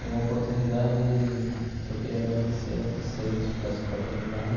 E uma oportunidade que eu queria agradecer a vocês por essa oportunidade.